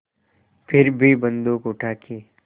फिर भी बन्दूक उठाके